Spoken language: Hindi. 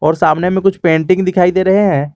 और सामने में कुछ पेंटिंग दिखाई दे रहे हैं।